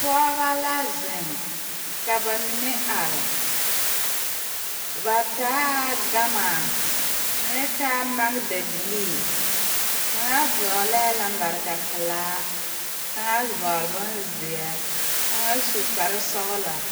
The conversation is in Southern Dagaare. Pɔɔbɔ la zeŋ ka ba mine are ba taa gama mine taa magdabilii kaŋa vɔglɛɛ lambarika pelaa kaŋa vɔgle bonzeɛ kaŋa su kparesɔglaa.